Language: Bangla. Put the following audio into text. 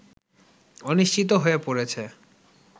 অনিশ্চিত হয়ে পড়েছে